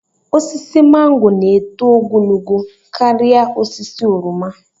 Osisi mango na-eto ogologo karịa osisi oroma